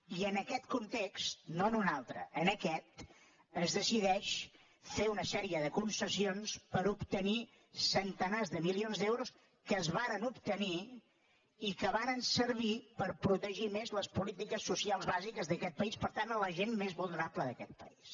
i en aquest context no en un altre en aquest es decideix fer una sèrie de concessions per a obtenir centenars de milions d’euros que es varen obtenir i que varen servir per protegir més les polítiques socials bàsiques d’aquest país per tant la gent més vulnerable d’aquest país